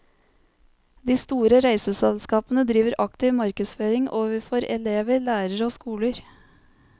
De store reiseselskapene driver aktiv markedsføring overfor elever, lærere og skoler.